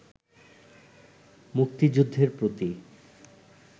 মুক্তিযুদ্ধের প্রতি